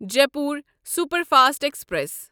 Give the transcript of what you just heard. Jaipur superfast express